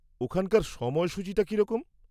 ওখানকার সময়সূচীটা কীরকম?